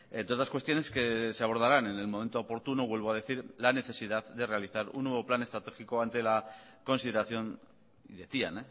entre otras cuestiones que se abordarán en el momento oportuno vuelvo a decir la necesidad de realizar un nuevo plan estratégico ante la consideración y decían